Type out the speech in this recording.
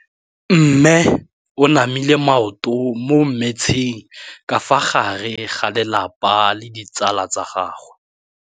Mme o namile maoto mo mmetseng ka fa gare ga lelapa le ditsala tsa gagwe.